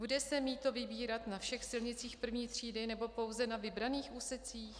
Bude se mýto vybírat na všech silnicích I. třídy, nebo pouze na vybraných úsecích?